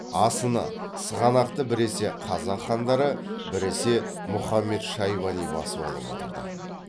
асыны сығанақты біресе қазақ хандары біресе мұхамед шайбани басып алып отырды